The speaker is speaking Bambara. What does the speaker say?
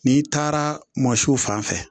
N'i taara mɔsiw fan fɛ